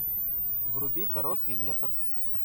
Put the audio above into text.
вруби короткий метр